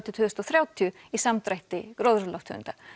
til tvö þúsund og þrjátíu í samdrætti gróðurhúsalofttegunda